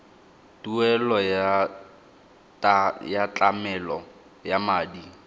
tuelo ya tlamelo ya madi